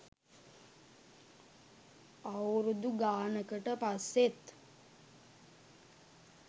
අවුරුදු ගානකට පස්සෙත්